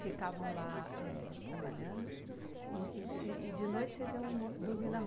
Ficavam lá éh trabalhando e e v e e de noite, vocês iam mo dormir na